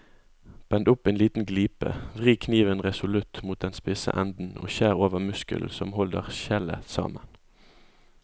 Bend opp en liten glipe, vri kniven resolutt mot den spisse enden og skjær over muskelen som holder skjellet sammen.